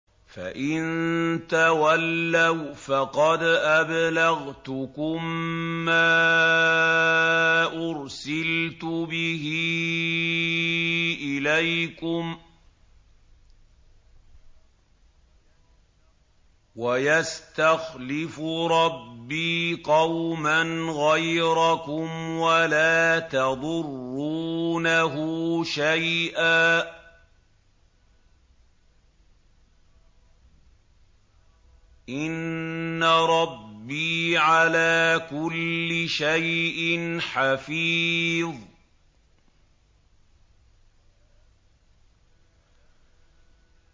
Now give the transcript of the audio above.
فَإِن تَوَلَّوْا فَقَدْ أَبْلَغْتُكُم مَّا أُرْسِلْتُ بِهِ إِلَيْكُمْ ۚ وَيَسْتَخْلِفُ رَبِّي قَوْمًا غَيْرَكُمْ وَلَا تَضُرُّونَهُ شَيْئًا ۚ إِنَّ رَبِّي عَلَىٰ كُلِّ شَيْءٍ حَفِيظٌ